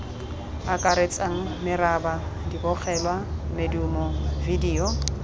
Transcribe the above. akaretsang meraba dibogelwa medumo vidio